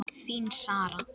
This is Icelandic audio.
Þín, Sara.